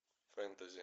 фэнтези